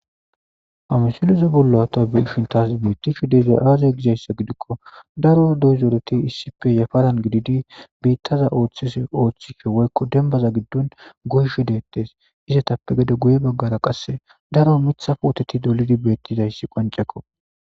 Amisiloze bollo ta biishin taas bettishi deza aaze gizayssa gidikko daro doyzoreti issippe yafalan gididi biittaza ooththise ooththike woykko dembaza giddon goyshe deettes izatappe gede guye baggara qasse daro mithafwoteti dolidi beettizayssi qancekko.